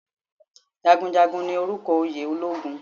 Jagunjagun ni orúkọ oyè ológun